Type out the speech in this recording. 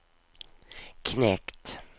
knekt